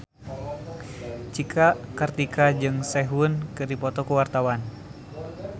Cika Kartika jeung Sehun keur dipoto ku wartawan